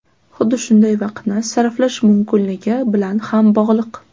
Xuddi shunday vaqtni sarflash mumkinligi bilan ham bog‘liq.